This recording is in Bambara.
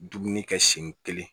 Dumuni kɛ sen kelen